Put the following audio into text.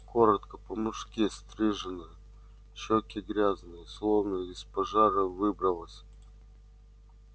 коротко по-мужски стриженная щеки грязные словно из пожара выбралась